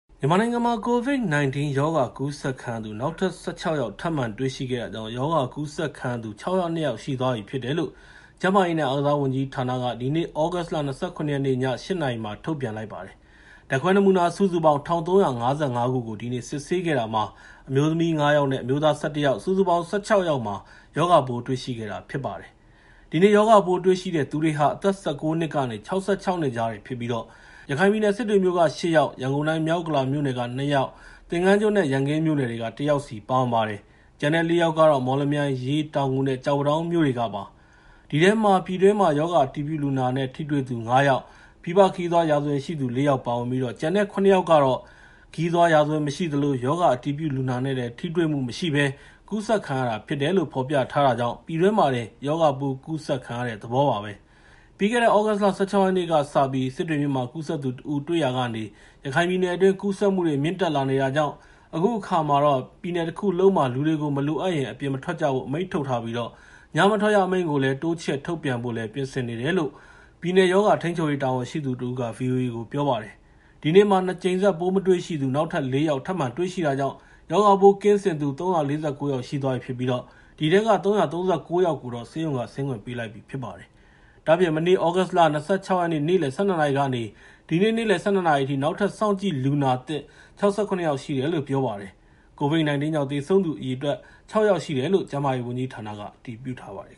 မြန်မာနိုင်ငံမှာ COVID-19 ရောဂါကူးစက်ခံရသူ နောက်ထပ် ၁၆ ယောက် ထပ်မံတွေ့ရှိတာကြောင့် ရောဂါကူးစက်ခံရသူ ၆၀၂ ယောက် ရှိသွားပြီဖြစ်တယ်လို့ ကျန်းမာရေးနဲ့ အားကစားဝန်ကြီးဌာနက ဒီနေ့ ည ၈ နာရီထုတ်ပြန်ပါတယ်။ ဓာတ်ခွဲနမူနာ ၁,၃၅၅ ခုကို ဒီနေ့ စစ်ဆေးခဲ့တာမှာ အမျိုးသမီး ၅ ယောက်နဲ့ အမျိုးသား ၁၁ ယောက် စုစုပေါင်း ၁၆ ယောက်မှာ ရောဂါပိုး တွေ့ရှိခဲ့တာဖြစ်ပါတယ်။ ဒီနေ့ ရောဂါပိုးတွေ့ရှိတဲ့သူတွေဟာ အသက် ၁၉ နှစ်ကနေ ၆၆ နှစ်ကြားတွေဖြစ်ကြပြီး ရခိုင်ပြည်နယ်စစ်တွေမြို့က ၈ ယောက်၊ ရန်ကုန်တိုင်း မြောက်ဥက္ကလာမြို့နယ်က ၂ ယောက်၊ သင်္ဃန်းကျွန်းနဲ့ ရန်ကင်းမြို့နယ်တွေက ၁ ယောက်စီ ပါဝင်ပါတယ်။ ကျန်တဲ့ ၄ ယောက်ကတော့ မော်လမြိုင်၊ ရေး၊ တောင်ငူနဲ့ ကျောက်ပန်းတောင်းမြို့တွေကပါ။ ဒီထဲမှာ ပြည်တွင်း ရောဂါအတည်ပြုလူနာနဲ့ ထိတွေ့သူ ၅ ယောက်၊ ပြည်ပခရီးသွားရာဇဝင်ရှိသူ ၄ ယောက် ပါဝင်ပြီး ကျန်တဲ့ ၇ ယောက်ကတော့ ခရီးသွားရာဇဝင်မရှိသလို ရောဂါအတည်ပြုလူနာနဲ့ ထိတွေ့မရှိဘဲ ကူးစက်ခံရတာဖြစ်တယ်လို့ ဖော်ပြထားတာကြောင့် ပြည်တွင်းမှာတင် ရောဂါပိုးကူးစက်ခံရတဲ့ သဘောပါပဲ။ ပြီးခဲ့တဲ့ သြဂုတ်လ ၁၆ ရက်နေ့ကစပြီး စစ်တွေမြို့မှာ ကူးစက်သူတစ်ဦးတွေ့ရာကနေ ရခိုင်ပြည်နယ်အတွင်း ကူးစက်မှုတွေ မြင့်တက်လာနေတာကြောင့် အခုအခါ ပြည်နယ်တခုလုံးမှာ လူတွေကို မလိုအပ်ရင် အပြင်မထွက်ကြဖို့ အမိန့်ထုတ်ထားပြီး ညမထွက်ရအမိန့်ကို တိုးချဲ့ထုတ်ပြန်ဖို့လည်း ပြင်ဆင်နေတယ်လို့ ပြည်နယ်ရောဂါထိန်းချုပ်ရေးတာဝန်ရှိသူတဦးက ဗွီအိုအေကို ပြောပါတယ်။ ဒီနေ့မှာ နှစ်ကြိမ်ဆက် ပိုးမတွေ့ရှိသူ ၄ ယောက်ထပ်မံတွေရှိတာကြောင့် ရောဂါပိုးကင်းစင်သူ ၃၄၉ ယောက် ရှိသွားပြီဖြစ်ပြီးဒီထဲက ၃၃၉ ယောက်ကိုတော့ ဆေးရုံက ဆင်းခွင့်ပေးလိုက်ပြီဖြစ်ပါတယ်။ ဒါ့အပြင့် မနေ့ သြဂုတ်လ ၂၆ ရက်နေ့ကနေ ဒီနေ့နေလယ် ၁၂ နာရီအထိ နောက်ထပ် စောင့်ကြည့်လူနာသစ် ၆၇ ယောက်ရှိတယ်လို့ ပြောပါတယ်။ COVID-19 ကြောင့် သေဆုံးသူအရေအတွက်က ၆ ယောက်ရှိတယ်လို့ ကျန်းမာရေးဝန်ကြီးဌာနက အတည်ပြုထားပါတယ်